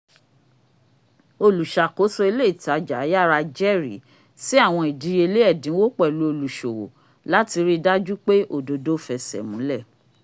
oluṣakoso ìlé itaja yara jẹrìí sí àwọn ìdíyelé ẹ̀dínwó pẹ̀lú oluṣowo láti ríi dájú pé ododo f'ẹsẹ múlẹ